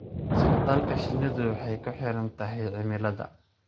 Socdaalka shinnidu waxay ku xidhan tahay cimilada.